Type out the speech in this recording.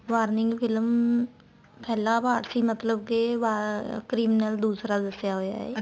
warning film ਪਹਿਲਾਂ part ਸੀ ਮਤਲਬ ਕੇ criminal ਦੂਸਰਾ ਦੱਸਿਆ ਹੋਇਆ ਏ